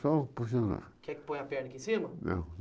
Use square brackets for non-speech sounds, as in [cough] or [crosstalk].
Só puxando [unintelligible] Quer que ponha a perna aqui em cima? Não